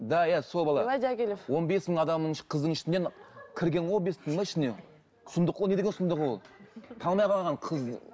да иә сол бала он бес мың адамның қыздың ішінен кірген ғой ішінен сұмдық қой ол не деген сұмдық ол танымай қалған қыз